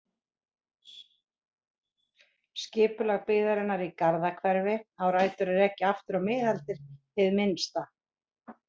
Skipulag byggðarinnar í Garðahverfi á rætur að rekja aftur á miðaldir hið minnsta.